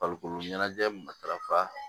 Farikolo ɲɛnajɛ matarafa